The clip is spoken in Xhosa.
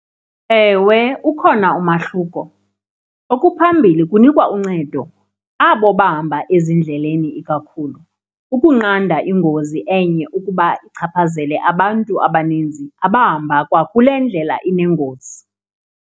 Ewe, ukhona umahluko. Okuphambili kunikwa uncedo abo bahamba ezindleleni ikakhulu ukunqanda ingozi enye ukuba ichaphazele abantu abaninzi abahamba kwakule ndlela inengozi.